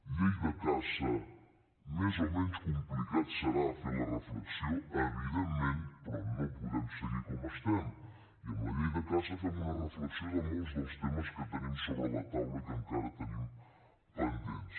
llei de caça més o menys complicat serà fer la reflexió evidentment però no podem seguir com estem i amb la llei de caça fem una reflexió de molts dels temes que tenim sobre la taula i que encara tenim pendents